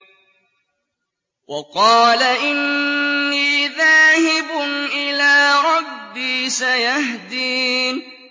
وَقَالَ إِنِّي ذَاهِبٌ إِلَىٰ رَبِّي سَيَهْدِينِ